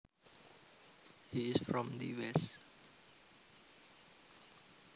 He is from the west